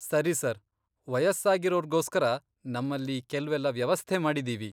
ಸರಿ ಸರ್, ವಯಸ್ಸಾಗಿರೋರ್ಗೋಸ್ಕರ ನಮ್ಮಲ್ಲಿ ಕೆಲ್ವೆಲ್ಲ ವ್ಯವಸ್ಥೆ ಮಾಡಿದೀವಿ.